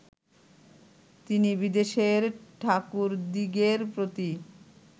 তিনি বিদেশের ঠাকুরদিগের প্রতি